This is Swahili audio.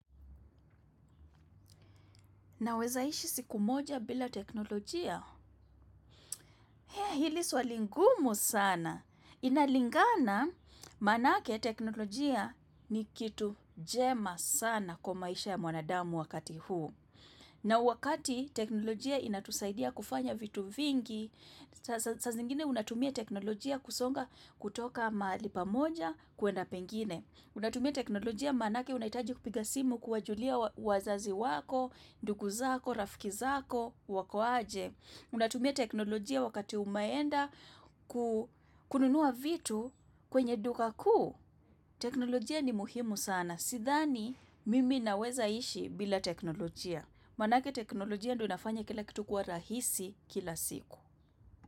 Nawezaishi siku moja bila teknolojia? Hea hili swali ngumu sana. Inalingana manake teknolojia ni kitu jema sana kwa maisha ya mwanadamu wakati huu. Na wakati teknolojia inatusaidia kufanya vitu vingi, saa zingine unatumia teknolojia kusonga kutoka mahali pamoja kuenda pengine. Unatumia teknolojia manake unahitaji kupiga simu kuwajulia wazazi wako, ndugu zako, rafiki zako, wako aje. Unatumia teknolojia wakati umeenda kununua vitu kwenye duka kuu. Teknolojia ni muhimu sana. Sithani mimi naweza ishi bila teknolojia. Manake teknolojia ndio inafanya kila kitu kuwa rahisi kila siku.